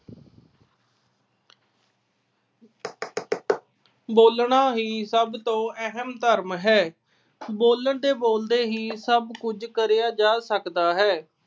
ਬੋਲਣਾ ਹੀ ਸਭ ਤੋ ਅਹਿਮ ਧਰਮ ਹੈ। ਬੋਲਣ ਤੇ ਬੋਲਦੇ ਹੀ ਸਭ ਕੁਝ ਕਰਿਆ ਜਾ ਸਕਦਾ ਹੈ।